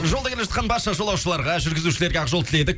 жолда келе жатқан барша жолаушыларға жүргізушілерге ақ жол тіледік